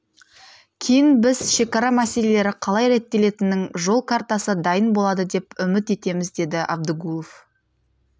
кейін біз шекара мәселелері қалай реттелетінің жол картасы дайын болады деп үміт етеміз деді абдыгулов